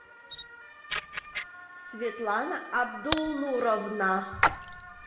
светлана абдулнуровна